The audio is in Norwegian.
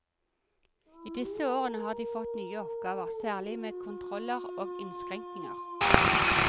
I de siste årene har de fått nye oppgaver, særlig med kontroller og innskrenkninger.